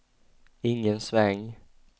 ingen sväng